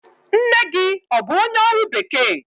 Nne gị ọ bụ onye ọrụ bekee?